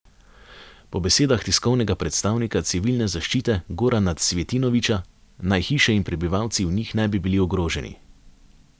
Po besedah tiskovnega predstavnika civilne zaščite Gorana Cvjetinovića naj hiše in prebivalci v njih ne bi bili ogroženi.